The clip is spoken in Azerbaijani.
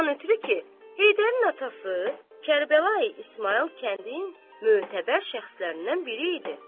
Ondan ötrü ki, Heydərin atası Kərbəlayi İsmayıl kəndin mötəbər şəxslərindən biri idi.